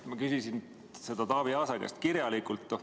Ma küsisin seda Taavi Aasa käest kirjalikult.